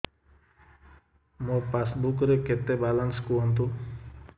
ମୋ ପାସବୁକ୍ ରେ କେତେ ବାଲାନ୍ସ କୁହନ୍ତୁ